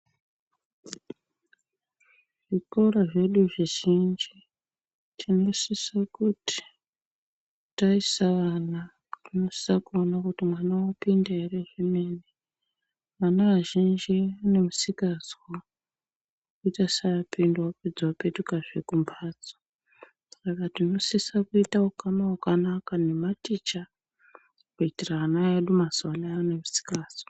Zvikora zvedu zvizhinji tinosose kuti taisa ana tinosose kuona kuti mwana wapinda ere zvemene ana azhinji ane musikazwa kuita seaoinda apedza opetukazve kumbatso, Saka tinosisa kuita ukama wakanaka nematicha kuitira ana edu mazuwanaya ane musikazwa.